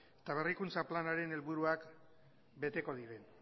eta berrikuntza planaren helburuak beteko diren